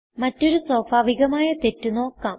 മറ്റൊരു സ്വാഭാവികമായ തെറ്റ് നോക്കാം